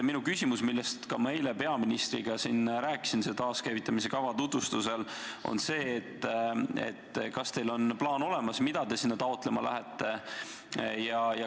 Minu küsimus, millest ma eile siin ka peaministriga rääkisin, taaskäivitamisekava tutvustusel, on selline: kas teil on plaan olemas, mida te sinna taotlema lähete?